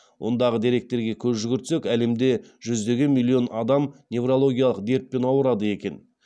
ондағы деректерге көз жүгіртсек әлемде жүздеген миллион адам неврологиялық дертпен аурырады екен